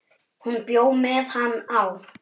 Hún bjó með hann á